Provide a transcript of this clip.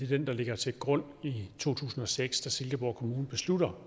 den der ligger til grund i to tusind og seks da silkeborg kommune beslutter